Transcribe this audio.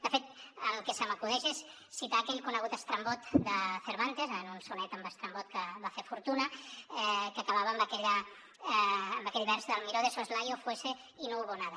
de fet el que se m’acudeix és citar aquell conegut estrambot de cervantes en un sonet amb estrambot que va fer fortuna que acabava amb aquell vers del miró de soslayo fuese y no hubo nada